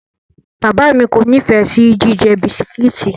Bàbáà mi kò nífẹ̀ẹ́ sí jíjẹ bisikíìtì.